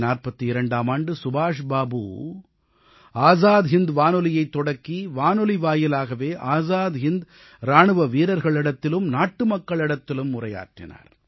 1942ஆம் ஆண்டு சுபாஷ் பாபு ஆஸாத் ஹிந்த் வானொலியைத் தொடங்கி வானொலி வாயிலாகவே ஆஸாத் ஹிந்த் இராணுவ வீரர்களிடத்திலும் நாட்டு மக்களிடத்திலும் உரையாற்றினார்